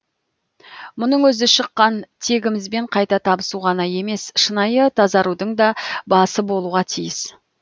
мұның өзі шыққан тегімізбен қайта табысу ғана емес шынайы тазарудың да басы болуға тиіс